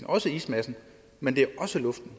også ismassen men det er også luften